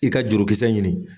I ka jurukisɛ ɲini